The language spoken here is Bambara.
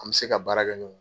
An bɛ se ka baara kɛ